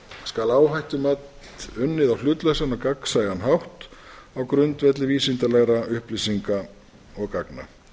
skal áhættumat unnið á hlutlausan og gagnsæjan hátt á grundvelli vísindalegra upplýsinga og gagna